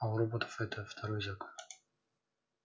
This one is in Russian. а у роботов это второй закон